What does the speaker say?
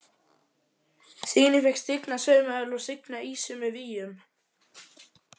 Já: Signý fékk stigna saumavél og signa ýsu með víum.